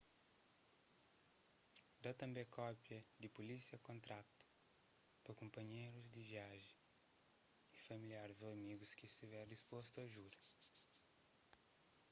da tanbê kópia di pulísia/kontratu pa kunpanherus di viajen y familiaris ô amigus ki stiver dispostu a djuda